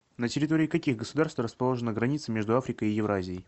на территории каких государств расположена граница между африкой и евразией